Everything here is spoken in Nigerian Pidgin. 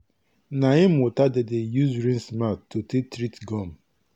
neem water dem dey use rinse mouth to take treat gum